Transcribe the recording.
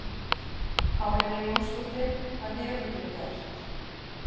Pálína Jónsdóttir, hvað hefurðu gert?